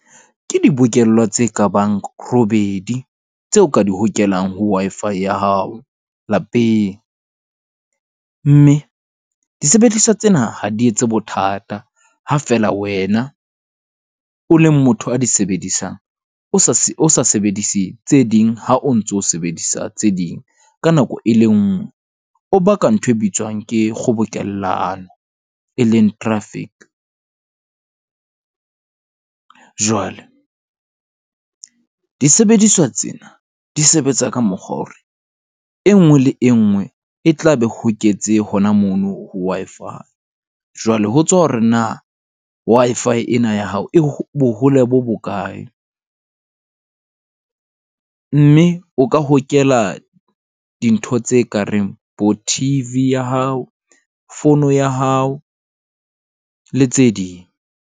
Ke dibokellwa tse kabang robedi tseo ka di hokelang ho Wi-Fi ya hao lapeng. Mme disebediswa tsena ha di etse bothata. Ha feela wena o le motho a di sebedisang, o sa sebedise tse ding ha o ntso sebedisa tse ding ka nako e le nngwe, o baka ntho e bitswang ke kgobokellano e leng traffic. Jwale disebediswa tsena di sebetsa ka mokgwa wa hore e nngwe le e nngwe e tla be e hoketse hona mono ho Wi-Fi. Jwale ho tswa hore na Wi-Fi ena ya hao e e bohole bo bokae. Mme o ka hokela dintho tse ka reng bo-T_V ya hao, fono ya hao le tse ding.